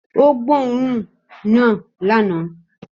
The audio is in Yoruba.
Ó gbóòórùn òun náà lánàá